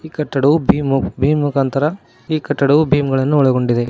ಕಟ್ಟಡವು ಬಿ ಮುಖಾಂತರ ಈ ಕಟಡು ಭೀಮಗಳನ್ನು ಒಳಗೊಂಡಿದೆ.